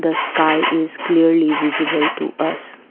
the sky is clearly visible to us.